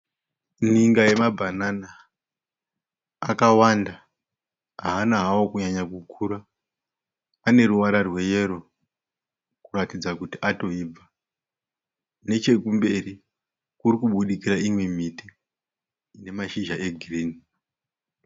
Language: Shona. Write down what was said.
Ninga yemabhanana akawanda haana hawo kunyanya kukura. Ane ruvara rweyero kuratidza kuti atoibva. Nechekumbiri kuri kubudikira imwe imiti ine masizha egirini.